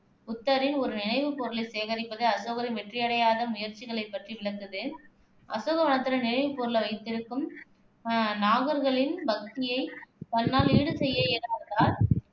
புத்தரின் ஒரு நினைவுப் பொருளைச் சேகரிப்பதில் அசோகரின் வெற்றியடையாத முயற்சிகளைப் பற்றி விளக்குது அசோகவதனத்துல நினைவுப் பொருளை வைத்திருக்கும் அஹ் நாகர்களின் பக்தியைத் தன்னால் ஈடு செய்ய இயலாததால்